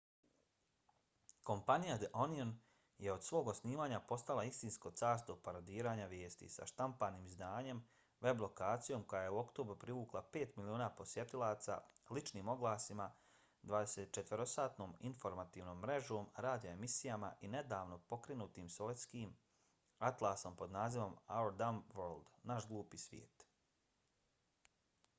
kompanija the onion je od svog osnivanja postala istinsko carstvo parodiranja vijesti sa štampanim izdanjem web lokacijom koja je u oktobru privukla 5 miliona posjetilaca ličnim oglasima 24-satnom informativnom mrežom radio emisijama i nedavno pokrenutim svjetskim atlasom pod nazivom our dumb world naš glupi svijet